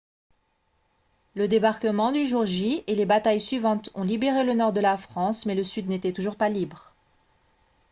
le débarquement du jour j et les batailles suivantes ont libéré le nord de la france mais le sud n'était toujours pas libre